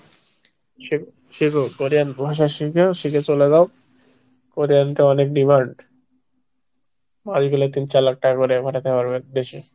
শেখো কোরিয়ান ভাষা শেখো, শিখে চলে যাও কোরিয়ান তো অনেক demand, মাস গেলে তিন চার লাখ টাকা করে পাঠাতে পারবে দেশে।